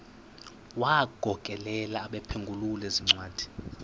wagokelela abaphengululi zincwadi